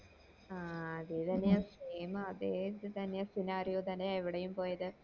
ആഹ് അതെ തന്നെയാ same അതെ ഇത് തന്നെയാ scenario തന്നെയാ ഇവിടെയും പോയത്